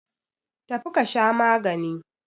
Tafi ka sha magani!